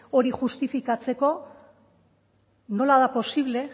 hori justifikatzeko nola da posible